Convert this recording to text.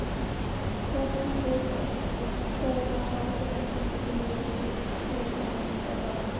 Konungsbók eddukvæða lætur ekki mikið yfir sér, hún er aðeins